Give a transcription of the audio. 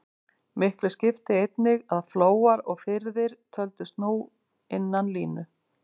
Miklu skipti einnig að flóar og firðir töldust nú innan línu.